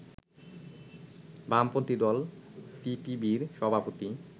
বামপন্থি দল সিপিবির সভাপতি